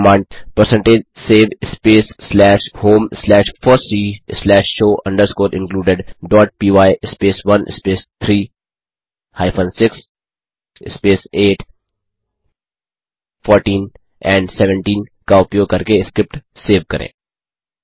फिर command percentage save space slash home slash FOSSEE slash show underscore included dot py space 1 space 3 hyphen 6 space 8 14 and 17 का उपयोग करके script save करें